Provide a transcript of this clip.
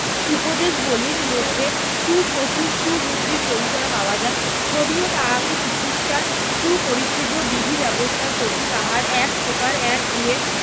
উপদেশবলির মধ্যে সু~ প্রচুর সুবুদ্ধির পরিচয় পাওয়া যায় যদিও তাহাকে চিকিৎসার সুপরিচিত বিধি ব্যবস্থার প্রতি তাহার এক প্রকার একগুঁয়ে